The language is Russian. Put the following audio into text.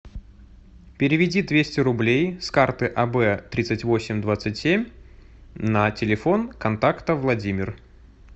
переведи двести рублей с карты аб тридцать восемь двадцать семь на телефон контакта владимир